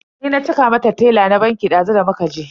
Ni na cika mata tela na banki dazu da muka je.